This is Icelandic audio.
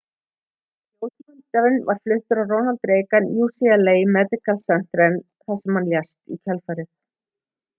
ljósmyndarinn var fluttur á ronald reagan ucla medical centeren þar lést hann í kjölfarið